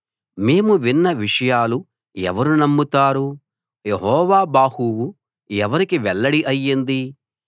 మేము విన్న విషయాలు ఎవరు నమ్ముతారు యెహోవా బాహువు ఎవరికి వెల్లడి అయింది